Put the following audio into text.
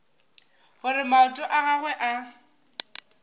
gore maoto a gagwe a